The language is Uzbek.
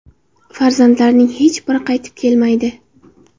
Farzandlarining hech biri qaytib kelmaydi.